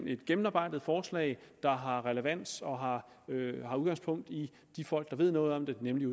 et gennemarbejdet forslag der har relevans og har udgangspunkt i de folk der ved noget om det nemlig